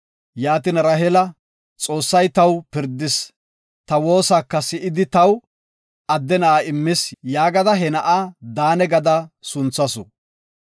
Yaatin Raheela, “Xoossay taw pirdis, ta woosaka si7idi taw adde na7a immis” yaagada he na7a Daane gada sunthasu.